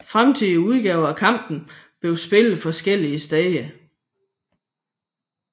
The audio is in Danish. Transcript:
Fremtidige udgaver af kampen blev spillet forskellige steder